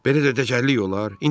Belə də təcəllük olar?